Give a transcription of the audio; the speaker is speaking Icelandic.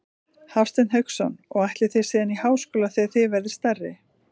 Hafsteinn Hauksson: Og ætlið þið síðan í háskóla þegar þið verðið stærri?